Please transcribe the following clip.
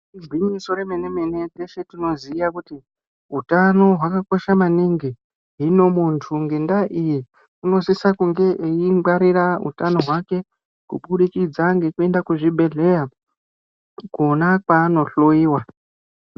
Igwinyiso remene-mene teshe tinoziya kuti hutano hwakakosha maningi. Hino muntu ngendaa iyi unosisa kunge eingwarira utano hwake. Kubudikidza ngekuende kuzvibhedhleya kona kwaanohloiwa.